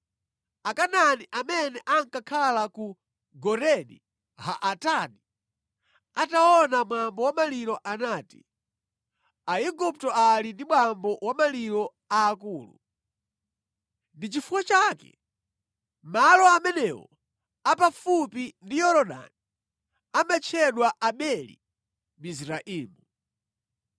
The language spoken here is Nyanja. Akanaani amene ankakhala ku Goreni ha-Atadi ataona mwambo wa maliro anati, “Aigupto ali ndi mwambo wa maliro a akulu.” Ndi chifukwa chake malo amenewo a pafupi ndi Yorodani amatchedwa Abeli-Mizraimu.